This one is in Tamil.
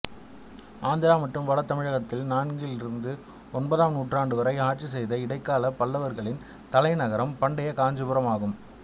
ஆந்திரா மற்றும் வடதமிழகத்தை நான்கிலிருந்து ஒன்பதாம் நூற்றாண்டு வரை ஆட்சி செய்த இடைக்கால பல்லவர்களின் தலைநகரம் பண்டைய காஞ்சிபுரம் ஆகும்